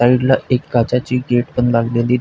साइडला एक काचेची गेटपण लागलेली --